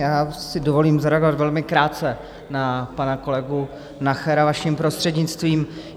Já si dovolím zareagovat velmi krátce na pana kolegu Nachera, vaším prostřednictvím.